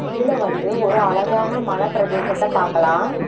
இதுல வந்து ஒரு அழகான மலப்பிரதேசத்த பாக்கலா.